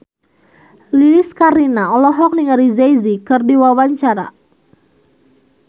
Lilis Karlina olohok ningali Jay Z keur diwawancara